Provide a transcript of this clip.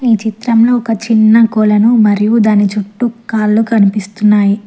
ఈ చిత్రంలో ఒక చిన్న కొలను మరియు దాని చుట్టూ కాళ్లు కనిపిస్తున్నాయి.